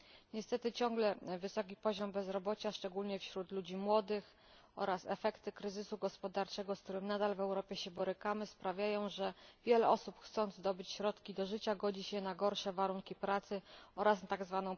Niestety ciągle wysoki poziom bezrobocia szczególnie wśród ludzi młodych oraz efekty kryzysu gospodarczego, z którym nadal się borykamy w Europie, sprawiają, że wiele osób, chcąc zdobyć środki do życia, godzi się na gorsze warunki pracy oraz tzw.